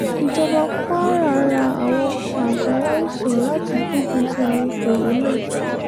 ìjọba kwara ra àwọn ọkọ̀ àgbàláìsàn láti gbógun ti àrùn corona